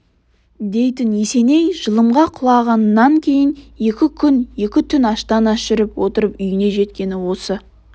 дейтін есеней жылымға құлағаннан кейін екі күн екі түн аштан-аш жүріп отырып үйіне жеткені осы